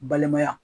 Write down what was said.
Balimaya